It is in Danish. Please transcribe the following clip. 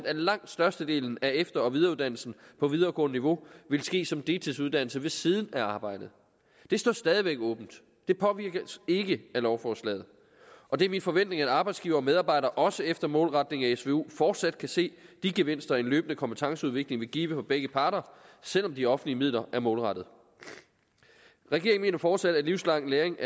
at langt størstedelen af efter og videreuddannelsen på videregående niveau ville ske som deltidsuddannelse ved siden af arbejdet det står stadig væk åbent det påvirkes ikke af lovforslaget og det er min forventning at arbejdsgivere og medarbejdere også efter målretningen af svu fortsat kan se de gevinster en løbende kompetenceudvikling vil give for begge parter selv om de offentlige midler er målrettede regeringen mener fortsat at livslang læring